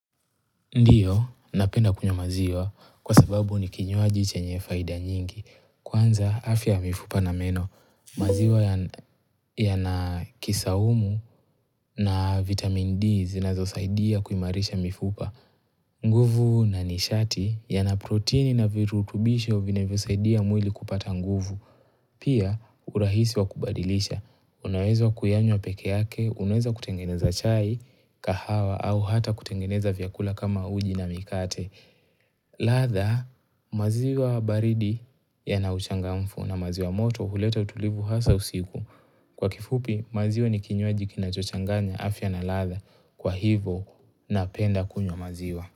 Ndiyo, napenda kunywa maziwa kwa sababu ni kinywaji chenye faida nyingi. Kwanza, afya ya mifupa na meno. Maziwa yana kisaumu na vitamin D zinazosaidia kuimarisha mifupa. Nguvu na nishati yana proteini na virutubisho vinavyosaidia mwili kupata nguvu. Pia, urahisi wa kubadilisha. Unawezo kuyanywa peke yake, unaeza kutengeneza chai, kahawa, au hata kutengeneza vyakula kama uji na mikate ladha maziwa baridi yana uchangamfu na maziwa moto huleta utulivu hasa usiku kwa kifupi maziwa ni kinywaji kinacho changanya afya na ladha kwa hivo napenda kunywa maziwa.